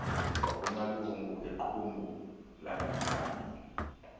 wakumalungu equmrhu langaphambili